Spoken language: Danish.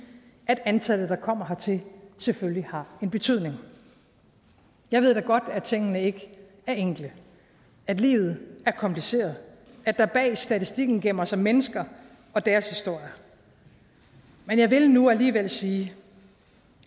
at antallet der kommer hertil selvfølgelig har en betydning jeg ved da godt at tingene ikke er enkle at livet er kompliceret at der bag statistikken gemmer sig mennesker og deres historier men jeg vil nu alligevel sige